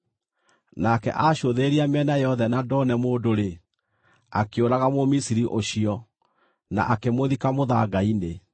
Nake acũthĩrĩria mĩena yothe na ndone mũndũ-rĩ, akĩũraga Mũmisiri ũcio, na akĩmũthika mũthanga-inĩ.